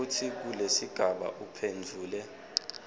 kutsi kulesigaba uphendvule